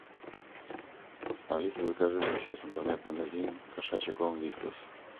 алиса закажи мне через интернет магазин кошачий корм вискас